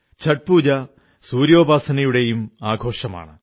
ഛഠ് പൂജ സൂര്യോപാസനയുടെയും ആഘോഷമാണ്